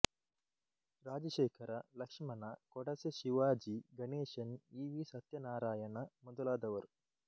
Rajashekhara Lakshmana Kodase Shivaji Ganesan E V Satyanarayana ಮೊದಲಾದವರು